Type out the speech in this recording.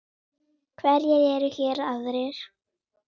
Hverjir eru hér aðrir?